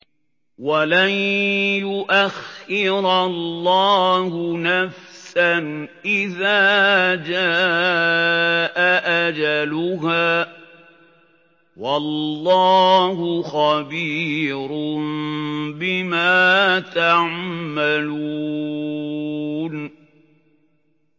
وَلَن يُؤَخِّرَ اللَّهُ نَفْسًا إِذَا جَاءَ أَجَلُهَا ۚ وَاللَّهُ خَبِيرٌ بِمَا تَعْمَلُونَ